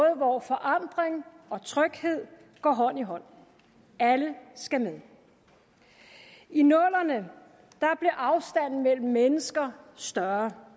hvor forandring og tryghed går hånd i hånd alle skal med i nullerne blev afstanden mellem mennesker større